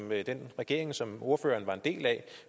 den regering som ordføreren var en del af